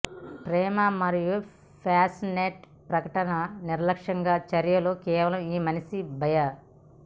ప్రేమ మరియు ప్యాషనేట్ ప్రకటనలు నిర్లక్ష్యంగా చర్యలు కేవలం ఈ మనిషి భయ